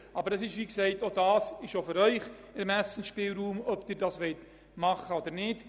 Aber es liegt wie gesagt wiederum in Ihrem Ermessensspielraum, ob Sie dies tun wollen oder nicht.